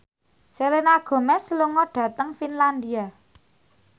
Selena Gomez lunga dhateng Finlandia